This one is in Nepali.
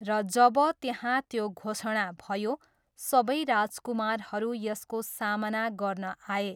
र जब त्यहाँ त्यो घोषणा भयो, सबै राजकुमारहरू यसको सामना गर्न आए।